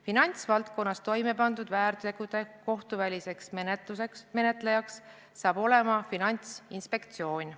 Finantsvaldkonnas toimepandud väärtegude kohtuväliseks menetlejaks saab olema Finantsinspektsioon.